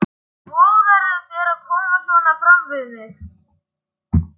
Hvernig vogarðu þér að koma svona fram við mig!